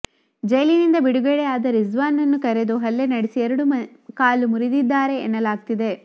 ಜೈಲಿಂದ ಬಿಡುಗಡೆಯಾಗಿದ್ದ ರಿಜ್ವಾನ್ನ ಕರೆದು ಹಲ್ಲೆ ನಡೆಸಿ ಎರಡು ಕಾಲು ಮುರಿದಿದ್ದಾರೆ ಎನ್ನಲಾಗ್ತಿದೆ